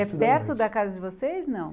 É perto da casa de vocês, não?